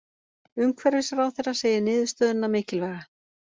Umhverfisráðherra segir niðurstöðuna mikilvæga